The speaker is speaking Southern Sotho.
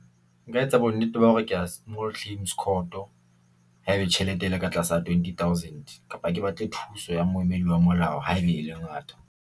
Nka etsa bo nnete ba hore ke ya small claims court haebe tjhelete e le ka tlasa twenty thousand kapa ke batle thuso ya moemedi wa molao haeba e le ngata.